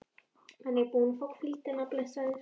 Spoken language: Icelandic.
Hann er búinn að fá hvíldina, blessaður.